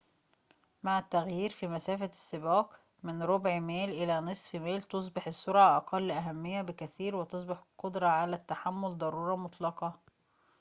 مع التغيير في مسافة السباق من ربع ميل إلى نصف ميل تُصبح السرعة أقل أهمية بكثير وتصبح القدرة على التحمل ضرورة مطلقة